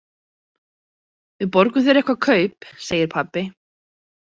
Við borgum þér eitthvert kaup, segir pabbi.